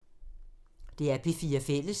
DR P4 Fælles